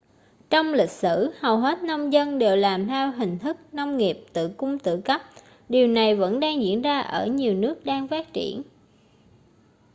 trong lịch sử hầu hết nông dân đều làm theo hình thức nông nghiệp tự cung tự cấp điều này vẫn đang diễn ra ở nhiều nước đang phát triển